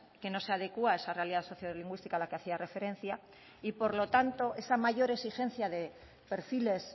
que no se adecua a esa realidad sociolingüística a la que hacía referencia y por lo tanto esa mayor exigencia de perfiles